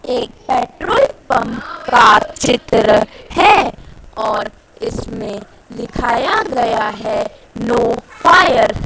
एक petrol pump का चित्र है और इसमें लिखाया गया है नो फायर --